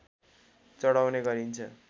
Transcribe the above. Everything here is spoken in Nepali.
चढाउने गरिन्छ